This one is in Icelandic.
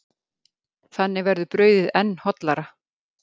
Þannig verður brauðið enn hollara.